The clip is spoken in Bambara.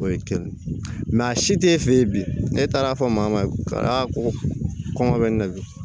O ye kelen a si te fe yen bi ne taar'a fɔ maa ma ko kɔngɔ bɛ n na bi